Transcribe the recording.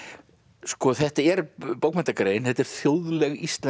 sko þetta er bókmenntagrein þetta er þjóðleg íslensk